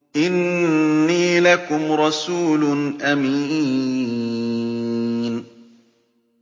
إِنِّي لَكُمْ رَسُولٌ أَمِينٌ